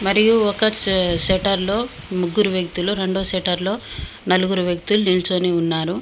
మరియు ఒక షె షట్టర్ లో ముగ్గురు వ్యక్తులు రెండో షెటర్లు లో నలుగురు వ్యక్తులు నిలుచొని ఉన్నారు.